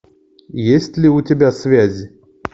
есть ли у тебя связи